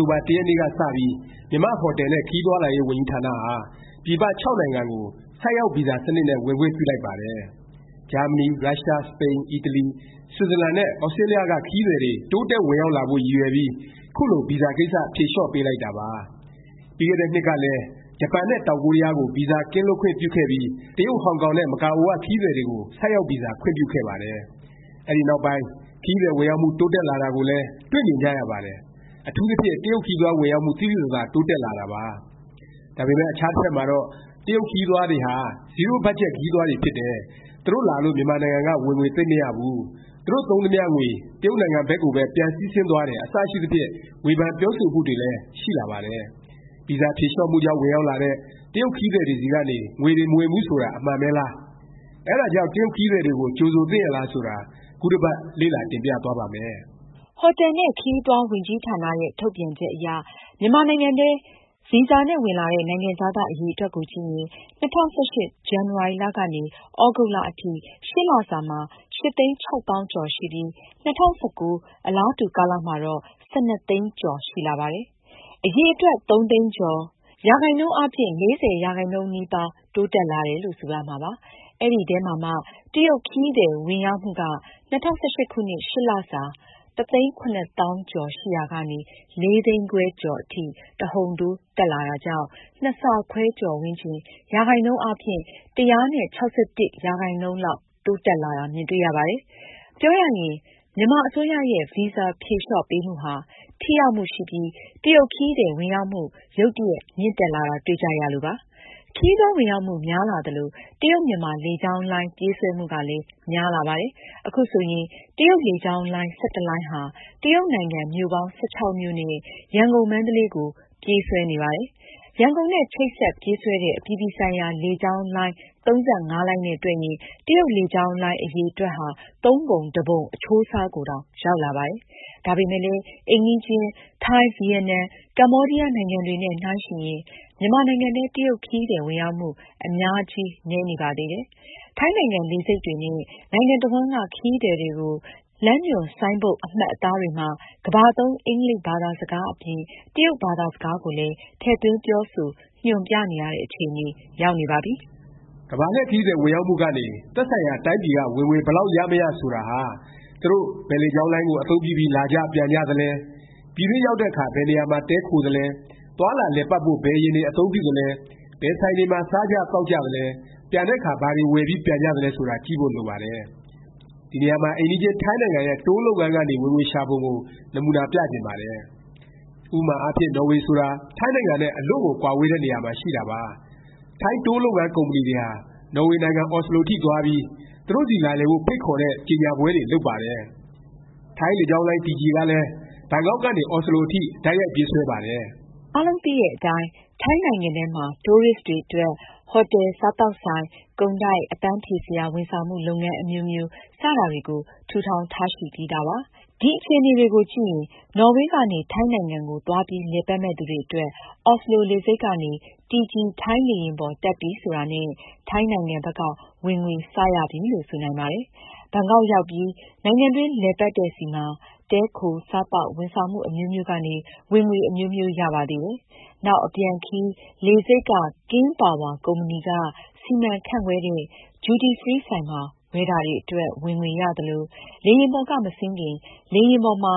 ်တိုဘာ ၁ ရက်နေ့က စပြီး မြန်မာ့ ဟိုတယ်နဲ့ ခရီးသွားလာရေး ဝန်ကြီးဌာနဟာ ပြည်ပ ၆ နိုင်ငံကို ဆိုက်ရောက် ဗီဇာ စနစ်နဲ့ ဝင်ခွင့်ပြုလိုက်ပါတယ်။ ဂျာမဏီ၊ ရုရှား၊ စပိန်၊ အီတလီ၊ ဆွစ်ဇာလန်နဲ့ သြစတြေးလျက ခရီးသည်တွေ တိုးတက် ဝင်ရောက်လာဖို့ ရည်ရွယ်ပြီး ခုလို ဗီဇာကိစ္စ ဖြေလျော့ပေးလိုက်တာပါ။ ပြီးခဲ့တဲ့နှစ်ကလည်း ဂျပန်နဲ့ တောင်ကိုရီးယားကို ဗီဇာကင်းလွတ်ခွင့်ပြုခဲ့ပြီး တရုတ်၊ ဟောင်ကောင်နဲ့ မကာအိုက ခရီးသည်တွေကို ဆိုက်ရောက်ဗီဇာ ခွင့်ပြုခဲ့ပါတယ်။ အဲဒီနောက်ပိုင်း ခရီးသည် ဝင်ရောက်မှု တိုးတက်လာတာကိုလည်း တွေ့မြင်ကြရပါတယ်။ အထူးသဖြင့် တရုတ်ခရီးသွား ဝင်ရောက်မှု သိသိသာသာ တိုးတက်လာတာပါ။ ဒါပေမယ့် အခြားတစ်ဖက်မှာတော့ တရုတ်ခရီးသွားတွေဟာ ဇီးရိုးဘတ်ဂျက် ခရီးသွားတွေ ဖြစ်တယ်၊ သူတို့လာလို့ မြန်မာနိုင်ငံက ဝင်ငွေ သိပ်မရဘူး၊ သူတို့ သုံးသမျှငွေ တရုတ်နိုင်ငံဘက်ကိုပဲ ပြန်စီးဆင်းသွားတယ် အစရှိသဖြင့် ဝေဖန်ပြောဆိုမှုတွေလည်း ရှိလာပါတယ်။ ဗီဇာဖြေလျော့မှုကြောင့် ဝင်ရောက်လာတဲ့ တရုတ်ခရီးသည်တွေဆီကနေ ငွေတွေ မဝင်ဘူး ဆိုတာ အမှန်ပဲလား၊ အဲဒါကြောင့် တရုတ်ခရီးသည်တွေကို ကြိုဆိုသင့်ရဲ့လား ဆိုတာ ခုတစ်ပတ် လေ့လာတင်ပြသွားပါ့မယ်။ ဟိုတယ်ခရီး ဝန်ကြီးဌာနရဲ့ ထုတ်ပြန်ချက်အရ မြန်မာနိုင်ငံထဲ ဗီဇာနဲ့ ဝင်လာတဲ့ နိုင်ငံခြားသား အရည်အတွက်ကိုကြည့်ရင် ၂၀၁၈ ၊ ဇန်နဝါရီလ ကနေ သြဂုတ်လကုန်ထိ (၈) လစာမှာ ၈ သိန်း ၆ သောင်းကျော်ရှိပြီး ၂၀၁၉ အလားတူ ကာလမှာတော့ ၁၂ သိန်းကျော် ရှိလာပါတယ်။ အရည်အတွက် ၃ သိန်းကျော်၊ ရာခိုင်နှုန်းအားဖြင့် ၄၀ ရာခိုင်နှုန်းနီးပါး တိုးတက်လာတယ်လို့ ဆိုရမှာပါ။ အဲဒီထဲမှာမှ တရုတ်ခရီးသည် ဝင်ရောက်မှုက ၂၀၁၈ ခုနှစ် (၈)လစာ တစ်သိန်း ၇ သောင်းကျော် ရှိရာကနေ ၄ သိန်းခွဲကျော် အထိ တဟုန်ထိုး တက်လာတာကြောင့် ၂ ဆခွဲကျော်ဝန်းကျင်၊ ရာခိုင်နှုန်းအားဖြင့် ၁၆၁ ရာခိုင်နှုန်းလောက် တိုးတက်လာတာ မြင်တွေ့ရပါတယ်။ ပြောရရင် မြန်မာအစိုးရရဲ့ ဗီဇာ ဖြေလျော့ပေးမှုဟာ ထိရောက်မှုရှိပြီး တရုတ်ခရီးသည် ဝင်ရောက်မှု ရုတ်တရက် မြင့်တက်လာတာ တွေ့ကြရလို့ပါ။ ခရီးသွား ဝင်ရောက်မှု များလာသလို တရုတ်- မြန်မာ လေကြောင်းလိုင်း ပြေးဆွဲမှုကလည်း များလာပါတယ်။ ခုဆိုရင် တရုတ်လေကြောင်းလိုင်း ၁၁ လိုင်းဟာ တရုတ်နိုင်ငံ မြို့ပေါင်း ၁၆ မြို့နဲ့ ရန်ကုန်- မန္တလေးကို ပြေးဆွဲနေပါတယ်။ ရန်ကုန်နဲ့ ချိတ်ဆက် ပြေးဆွဲတဲ့ အပြည်ပြည်ဆိုင်ရာ လေကြောင်းလိုင်း ၃၅ လိုင်းနဲ့ တွက်ရင် တရုတ်လေကြောင်းလိုင်းအရည်အတွက်ဟာ ၃ ပုံတစ်ပုံ အချိုးအစားကိုတောင် ရောက်လာပါတယ်။ ဒါပေမယ့်လည်း အိမ်နီးချင်း ထိုင်း၊ ဗီယက်နမ်၊ ကမ္ဘောဒီးယား နိုင်ငံတွေနဲ့ နှိုင်းယှဉ်ရင် မြန်မာနိုင်ငံထဲ တရုတ်ခရီးသည် ဝင်ရောက်မှု အများကြီး နည်းနေပါသေးတယ်။ ထိုင်းနိုင်ငံ လေဆိပ်တွေနဲ့ နိုင်ငံတစ်ဝှမ်းက ခရီးသည်တွေကို လမ်းညွှန်ပြောဆိုမှု၊ လမ်းညွှန် ဆိုင်းဘုတ် အမှတ်အသားတွေမှာ ကမ္ဘာသုံး အင်္ဂလိပ် ဘာသာစကား အပြင် တရုတ်ဘာသာစကားကိုလည်း ထည့်သွင်းပြောဆို ညွှန်ပြနေရတဲ့ အခြေအနေ ရောက်နေပါပြီ။ ကမ္ဘာလှည့် ခရီးသည် ဝင်ရောက်မှုကနေ သက်ဆိုင်ရာ တိုင်းပြည်က ဝင်ငွေ ဘယ်လောက် ရမရ ဆိုတာဟာ သူတို့ ဘယ်လေကြောင်းလိုင်းကို အသုံးပြုပြီး လာကြ၊ ပြန်ကြသလဲ၊ ပြည်တွင်းရောက်တဲ့အခါ ဘယ်နေရာမှာ တည်းခိုသလဲ၊ သွားလာ လည်ပတ်ဖို့ ဘယ် ယာဉ်တွေ အသုံးပြုသလဲ၊ ဘယ်ဆိုင်တွေမှာ စားသောက်ကြသလဲ၊ ပြန်တဲ့အခါ ဘာတွေ ဝယ်ပြီး ပြန်ကြသလဲ ဆိုတာ ကြည့်ဖို့ လိုပါတယ်။ ဒီနေရာမှာ အိမ်နီးချင်း ထိုင်းနိုင်ငံရဲ့ Tour လုပ်ငန်းကနေ ဝင်ငွေရှာပုံကို နမူနာ ပြချင်ပါတယ်။ ဥပမာအားဖြင့် နော်ေ၀ ဆိုတာ ထိုင်းနိုင်ငံနဲ့ အလွန့်ကို ကွာဝေးတဲ့ နေရာမှာ ရှိတာပါ။ ထိုင်း Tour လုပ်ငန်း ကုမ္ပဏီတွေဟာ နော်ဝေနိုင်ငံ အော်စလို အထိသွားပြီး သူတို့ဆီ လာလည်ဖို့ ဖိတ်ခေါ်တဲ့ ကြော်ငြာပွဲတွေ လုပ်ပါတယ်။ ထိုင်းလေကြောင်းလိုင်း TG ဟာလည်း ဘန်ကောက်ကနေ အော်စလို အထိ တိုက်ရိုက် ပြေးဆွဲပါတယ်။ အားလုံးသိတဲ့အတိုင်း ထိုင်းနိုင်ငံထဲမှာ Tourist တွေအတွက် ဟိုတယ်၊ စားသောက်ဆိုင်၊ ကုန်တိုက်၊ အပန်းဖြေစရာ ဝန်ဆောင်မှု လုပ်ငန်း အမျိုးမျိုး စတာတွေကို ထူထောင် ထားရှိပြီးသားပါ။ ဒီအခြေအနေတွေကို ကြည့်ရင် နော်ဝေကနေ ထိုင်းနိုင်ငံကို သွားပြီး လည်ပတ်မယ့် သူတွေအတွက် အော်စလို လေဆိပ်ကနေ TG ထိုင်းလေယာဉ်ပေါ် တက်ပြီ ဆိုတာနဲ့ ထိုင်းနိုင်ငံဘက်က ဝင်ငွေ စ ရပြီလို့ ဆိုနိုင်ပါတယ်။ ဘန်ကောက်ရောက်ပြီး နိုင်ငံတွင်း လည်ပတ်တဲ့ဆီမှာ တည်းခို၊ စားသောက်၊ ဝန်ဆောင်မှု အမျိုးမျိုးကနေ ဝင်ငွေ အမျိုးမျိုး ရပါသေးတယ်။ နောက် အပြန်ခရီး လေဆိပ်က King Power ကုမ္ပဏီက စီမံခန့်ခွဲတဲ့ Duty Free ဆိုင်မှာ ဝယ်တာတွေအတွက် ဝင်ငွေရသလို၊ လေယာဉ်ပေါ်က မဆင်းခင် လေယာဉ်ပေါ်မှာ